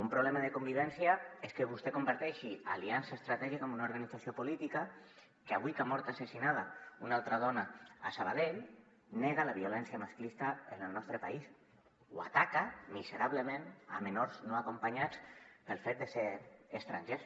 un problema de convivència és que vostè comparteixi aliança estratègica amb una organització política que avui que ha mort assassinada una altra dona a saba·dell nega la violència masclista en el nostre país o ataca miserablement menors no acompanyats pel fet de ser estrangers